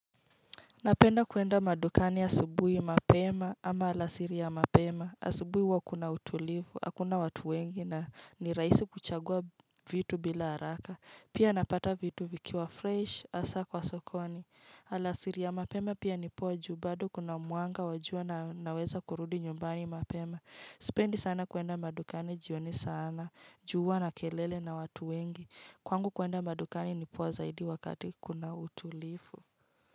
Napenda kuenda madukani ya asubuhi mapema ama alasiri ya mapema, asubuhi wakuna utulifu, hakuna watu wengi na niraisi kuchagua vitu bila haraka, pia napata vitu vikiwa fresh, asa kwa sokoni, alasiri ya mapema pia nipoju, bado kuna mwanga wajua na naweza kurudi nyumbani mapema. Sipendi sana kuenda madukani jioni sana, juwa na kelele na watu wengi, kwangu kuenda madukani nipo zaidi wakati kuna utulifu.